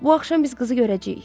Bu axşam biz qızı görəcəyik.